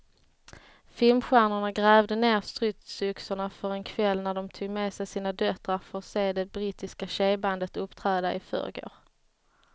Filmstjärnorna grävde ned stridsyxorna för en kväll när de tog med sina döttrar för att se det brittiska tjejbandet uppträda i förrgår.